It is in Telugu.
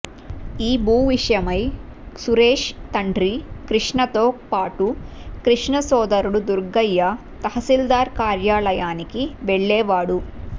ఈ భూ విషయమై సురేష్ తండ్రి కృష్ణతో పాటు కృష్ణ సోదరుడు దుర్గయ్య తహసీల్దార్ కార్యాలయానికి వెళ్లేవాడు